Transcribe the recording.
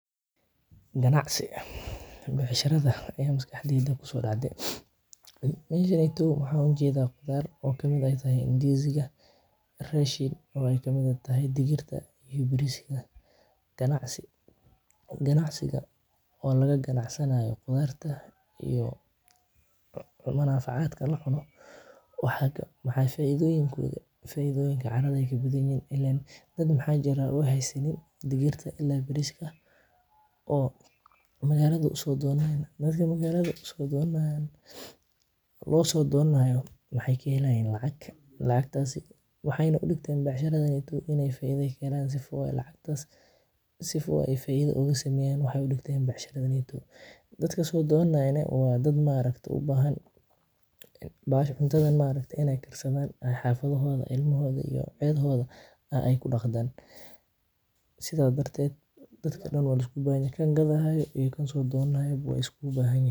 Ganacsi, becshaaraada aya maskaxdeeyda ku soo dacde, mesha neytow maxan u jedaa qudhaar oo kamiid tahay indiziga, rashin oo ee kamiid tahay digiirta, ganacsi, ganacsigaa oo laga ganacsanayo qudhaarta iyo cumana facaadka lacuno, maxaa faidoyiinkooda eh, faidhoonyiinkoda caradaa ayey kabadan yihin ilen dad maxaa jiraa aa haysanin. digirta iyo bariska oo magalaada usodonanayin, marki magalaada ee u so donanayin, oo magalaada lo so donanayo mexee kahelayin lacag, lacagtasi wexeyna u digteen in ee becsharaada in ee faidho ka kenan sifo lacagtas ee faidha oga sameyan, wexee u digteen becshaarada neto in ee ku sameyan, dadka so donanayana ma aragta waa dad u bahan, cuntaada in ee karsaada oo ilmahoda iyo cidha hodaa ee kudaqtan, sitha darteed dadka daan waa lasku bahan yahay kan gadhayo iyo kan gadhanayo wey iskugu bahanyihin.